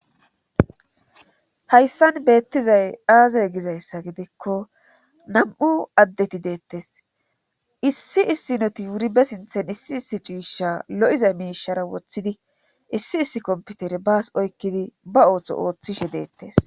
hayssan beettizay aazay gizayssa gidikko nam7u addeti deettes issi issi noti wuribe sinthen issi issi ciisha lo7iza miishara woththidi issi issi komputere baas oykkidi ba ooththo ooththishe deettes